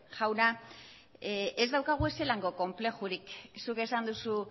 jauna ez daukagu inolako konplexurik zuk esan duzu